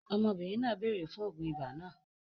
Ọmọbìnrin náà béèrè fún oògùn ibà náà